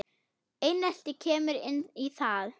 Einelti kemur inn í það.